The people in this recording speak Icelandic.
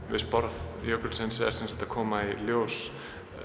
við sporð jökulsins eru semsagt að koma í ljós